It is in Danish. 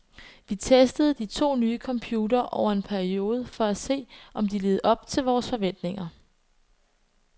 Vi testede de to nye computere over en periode for at se, om de levede op til vores forventninger.